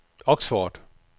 Oxford